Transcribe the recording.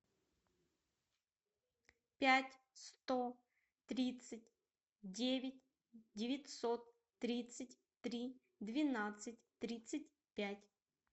пять сто тридцать девять девятьсот тридцать три двенадцать тридцать пять